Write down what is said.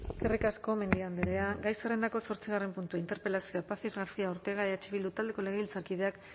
eskerrik asko mendia andrea gai zerrendako zortzigarren puntua interpelazioa pazis garcia ortega eh bildu taldeko legebiltzarkideak